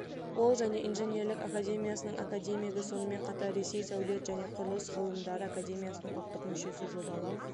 ол және инженерлік академиясының академигі сонымен қатар ресей сәулет және құрылыс ғылымдары академиясының ұлттық мүшесі жобалау